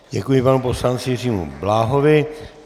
Děkuji panu poslanci Jiřímu Bláhovi.